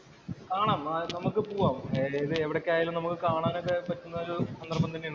കാണാം, നമുക്ക് പോവാം. എവിടെക്കെയായാലും നമുക്ക് കാണാനൊക്കെ പറ്റുന്ന ഒരു സന്ദര്‍ഭം തന്നെയാണ് ഇത്.